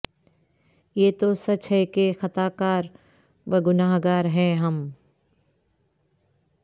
یہ تو سچ ہے کہ خطا کار و گنہگار ہیں ہم